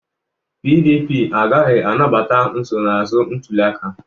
PDP agaghị anabata nsonaazụ ntuliaka